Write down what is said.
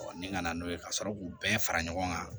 ni nana n'o ye ka sɔrɔ k'u bɛɛ fara ɲɔgɔn kan